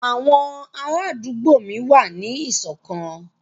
Àwọn ará àdúgbò mi wà ní ìṣọ̀kan